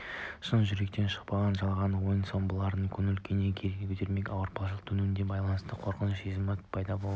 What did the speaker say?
шын жүректен шықпаған жалған ойын-сауығымен бұлардың көңіл-күйін көтермек ауыртпалықтың төнуіне байланысты қорқыныш сезімі пайда болады